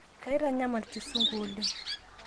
keitanyamal kisungu oleng